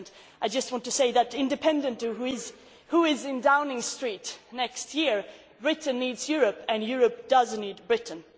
I just want to say that, independently of who is in Downing Street next year, Britain needs Europe and Europe does need Britain.